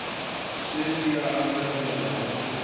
se ke a anegelwa go